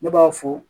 Ne b'a fɔ